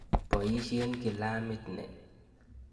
Poisyen kilamit ni.